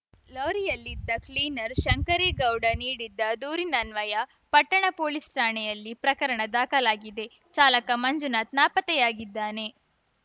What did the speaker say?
ಲಾರಿಯಲ್ಲಿದ್ದ cleaner Shankaregowda ನೀಡಿದ್ದ ದೂರಿನನ್ವಯ ಪಟ್ಟಣ ಪೋಲಿಸ್‌ ಠಾಣೆಯಲ್ಲಿ ಪ್ರಕರಣ ದಾಖಲಾಗಿದೆ ಚಾಲಕ ಮಂಜುನಾಥ್‌ ನಾಪತ್ತೆಯಾಗಿದ್ದಾನೆ